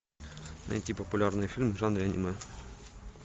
найти популярный фильм в жанре аниме